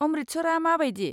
अमृतसरआ मा बायदि?